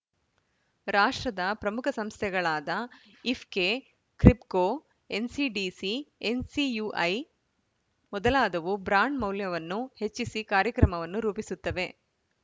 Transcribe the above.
ರಾಷ್ಟ್ರದ ಪ್ರಮುಖ ಸಂಸ್ಥೆಗಳಾದ ಇಫೆ್ಕೕ ಕ್ರಿಬ್ಕೋ ಎನ್‌ಸಿಡಿಸಿ ಎನ್‌ಸಿಯುಐ ಮೊದಲಾದವು ಬ್ರಾಂಡ್‌ ಮೌಲ್ಯವನ್ನು ಹೆಚ್ಚಿಸಿ ಕಾರ್ಯಕ್ರಮವನ್ನು ರೂಪಿಸುತ್ತವೆ